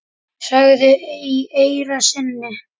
sagðir í eyra syni.